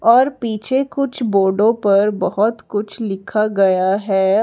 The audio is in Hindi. और पीछे कुछ बोर्डो पर बहोत कुछ लिखा गया है।